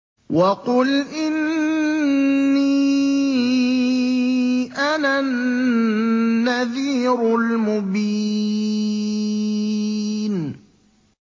وَقُلْ إِنِّي أَنَا النَّذِيرُ الْمُبِينُ